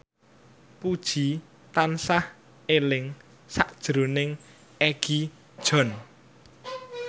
Puji tansah eling sakjroning Egi John